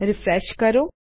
refresh કરો